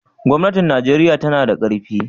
gwamnatin Najeriya tanada karfi